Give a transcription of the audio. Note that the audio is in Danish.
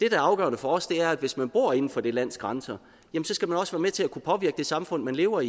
er afgørende for os er at hvis man bor inden for det lands grænser så skal man også være med til at kunne påvirke det samfund man lever